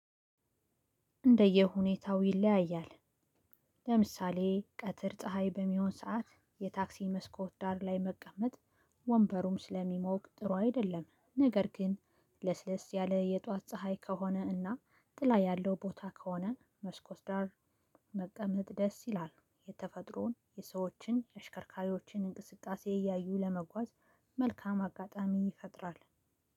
እንደየ ሁኔታው ይለያያል። ለምሳሌ ቀትር ፀሀይ በሚሆን ሰዓት የታክሲ መስኮት ዳር ላይ መቀመጥ ወንበሩም ስለሚሞቅ ጥሩ አይደለም። ነገር ግን ለስለስ ያለ የጧት ፀሀይ ከሆነ እና ጥላ ያለው ቦታ ከሆነ መስኮት ዳር መቀመጥ ደስ ይላል። የተፈጥሮን የሰዎችን የአሽከርካሪዎችን እንቅስቃሴ እያዩ ለመጓዝ መልካም አጋጣሚ ይፈጥራል።